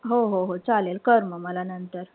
हो-हा-हो चालेल कर म मला नंतर.